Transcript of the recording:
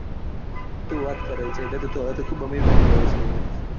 શું વાત કરે છે એટલે તો તું ખુબ આમિર બની ગયો.